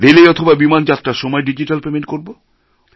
রেলে অথবা বিমান যাত্রার সময় ডিজিট্যাল পেমেণ্ট করব